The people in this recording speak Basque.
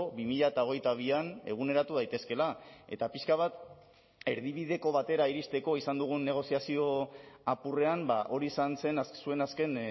bi mila hogeita bian eguneratu daitezkeela eta pixka bat erdibideko batera iristeko izan dugun negoziazio apurrean hori izan zen zuen azken